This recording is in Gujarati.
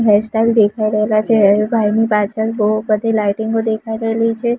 હેર સ્ટાઈલ દેખાય રહેલા છે એ ભાઈ ની પાછળ બો બધી લાઇટિંગો દેખાય રહેલી છે.